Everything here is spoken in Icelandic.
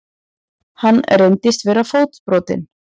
Hann reyndist vera fótbrotinn